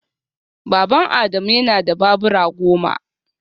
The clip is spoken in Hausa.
Baban Adamu yana da babura goma